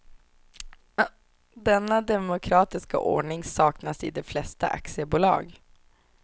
Denna demokratiska ordning saknas i de flesta aktiebolag.